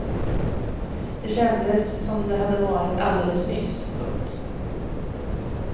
Det kändes som om det hade varit alldeles nyss. punkt